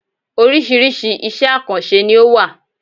Oríṣiríṣi iṣẹ̀ àkànṣe ni ó wà.